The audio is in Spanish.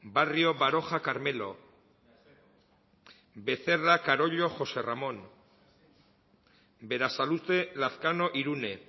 barrio baroja carmelo becerra carollo josé ramón berasaluze lazkano irune